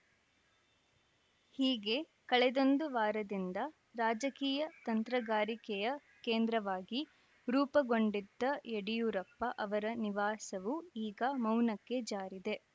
ಹೀಗೆ ಕಳೆದೊಂದು ವಾರದಿಂದ ರಾಜಕೀಯ ತಂತ್ರಗಾರಿಕೆಯ ಕೇಂದ್ರವಾಗಿ ರೂಪುಗೊಂಡಿದ್ದ ಯಡಿಯೂರಪ್ಪ ಅವರ ನಿವಾಸವು ಈಗ ಮೌನಕ್ಕೆ ಜಾರಿದೆ